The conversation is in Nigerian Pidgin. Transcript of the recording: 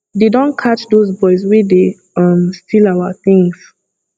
dey don catch those boys wey dey um steal our things